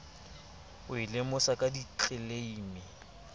e o lemosa ka ditleleime